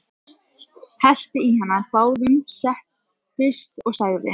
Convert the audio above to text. Hellti í handa báðum, settist og sagði: